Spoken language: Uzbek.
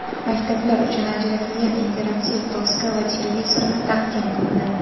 maktablar uchun ajratilgan interaktiv doska va televizorni taqdim qildi.